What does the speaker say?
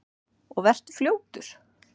Og vertu fljótur.